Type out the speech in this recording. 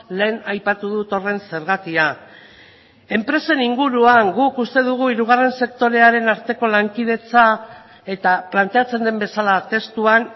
lehen aipatu dut horren zergatia enpresen inguruan guk uste dugu hirugarren sektorearen arteko lankidetza eta planteatzen den bezala testuan